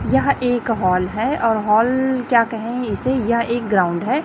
यह एक हॉल है और हॉल क्या कहें इसे यह एक ग्राउंड है।